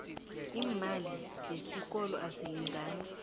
iimali zesikolo azilingani